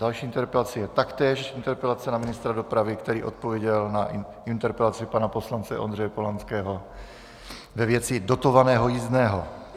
Další interpelací je taktéž interpelace na ministra dopravy, který odpověděl na interpelaci pana poslance Ondřeje Polanského ve věci dotovaného jízdného.